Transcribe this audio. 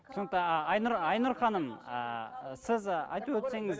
түсінікті а айнұр айнұр ханым ы сіз ы айтып өтсеңіз